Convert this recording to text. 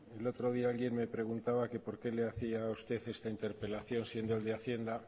el otro día alguien me preguntaba que por qué le hacía a usted esta interpelación siendo el de hacienda